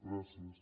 gràcies